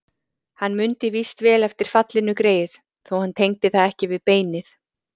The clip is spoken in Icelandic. Hann mundi víst vel eftir fallinu greyið, þó hann tengdi það ekki við beinið.